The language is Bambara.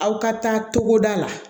Aw ka taa cogoda la